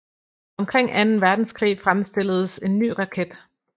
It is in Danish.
Omkring Anden Verdenskrig fremstilledes en ny raket